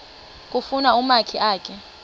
kufuna umakhi akhe